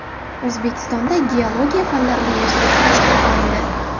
O‘zbekistonda Geologiya fanlari universiteti tashkil qilindi.